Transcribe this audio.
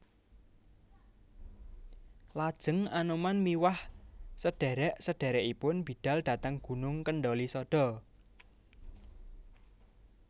Lajeng Anoman miwah sedherek sedherekipun bidhal dhateng Gunung Kendhalisada